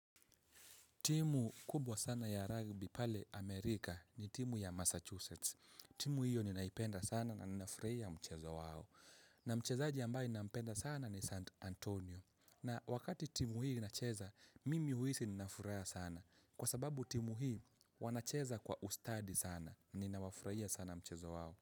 Timu kubwa sana ya rugby pale Amerika ni timu ya Massachusetts. Timu hiyo ninaipenda sana na ninafurahia mchezo wao. Na mchezaji ambaye ninampenda sana ni St. Antonio. Na wakati timu hii inacheza, mimi huhisi nina furaha sana. Kwa sababu timu hii wanacheza kwa ustadi sana. Ninawafurahia sana mchezo wao.